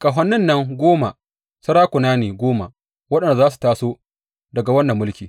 Ƙahonin nan goma, sarakuna ne goma waɗanda za su taso daga wannan mulki.